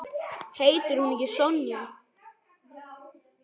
Heitir hún ekki Sonja?